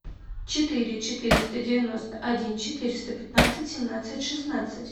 четыре четыреста девяносто один четыреста пятнадцать семнадцать шестнадцать